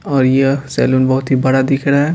और यह सलून बहुत ही बड़ा दिख रहा है।